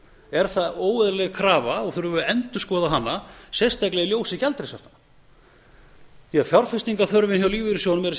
er það óeðlileg krafa og þurfum við að endurskoða hana sérstaklega í ljósi gjaldeyrishaftanna því fjárfestingarþörfin hjá lífeyrissjóðunum